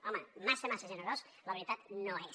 home massa massa generós la veritat no és